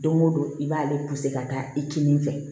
Don go don i b'ale ka taa i kinin fɛ